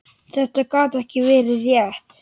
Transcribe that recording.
Þetta gat ekki verið rétt.